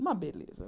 Uma beleza.